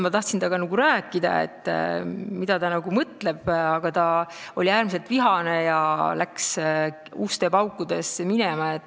Ma tahtsin temaga rääkida, et saada teada, mida ta mõtleb, aga ta oli äärmiselt vihane ja läks uste paukudes minema.